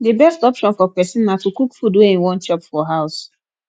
di best option for person na to cook food wey im wan chop for house